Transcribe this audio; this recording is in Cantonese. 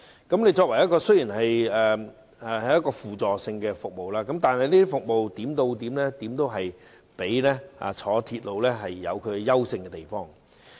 巴士雖然作為輔助性服務，但其服務點到點，總比鐵路有優勝的地方。